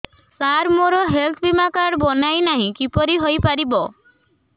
ସାର ମୋର ହେଲ୍ଥ ବୀମା କାର୍ଡ ବଣାଇନାହିଁ କିପରି ହୈ ପାରିବ